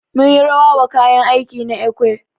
Mun yi rawa wa kayan aiki na ekwe.